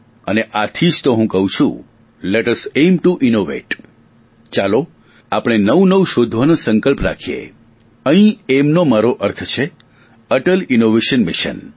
અને આથી જ તો હું કહું છું let us aim to innovate ચાલો આપણે નવું નવું શોધવાનો સંકલ્પ રાખીએ અહીં એઇમનો મારો અર્થ છે અટલ ઇનોવેશન મિશન